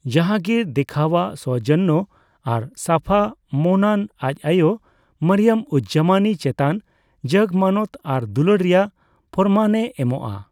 ᱡᱟᱦᱟᱝᱜᱤᱨ ᱫᱮᱠᱷᱟᱣᱟᱜ ᱥᱳᱣᱡᱚᱱᱱᱚ ᱟᱨ ᱥᱟᱯᱷᱟ ᱢᱚᱱᱟᱱ ᱟᱡ ᱟᱭᱳ ᱢᱟᱨᱤᱭᱚᱢᱼᱩᱡᱼᱡᱟᱢᱟᱱᱤ ᱪᱮᱛᱟᱱ ᱡᱟᱜ ᱢᱟᱱᱚᱛ ᱟᱨ ᱫᱩᱞᱟᱹᱲ ᱨᱮᱭᱟᱜ ᱯᱚᱨᱢᱟᱱᱮ ᱮᱢᱚᱜ ᱟ ᱾